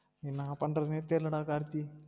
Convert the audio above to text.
என்னா பண்றதுனே தெரில டா கார்த்தி